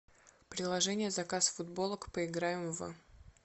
приложение заказ футболок поиграем в